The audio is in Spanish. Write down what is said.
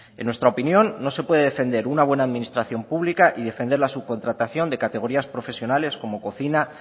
en nuestra opinión no se puede defender una buena administración pública y defender la subcontratación de categorías profesionales como cocina